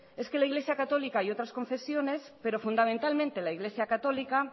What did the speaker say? es que la iglesia católica y otras confesiones pero fundamentalmente la iglesia católica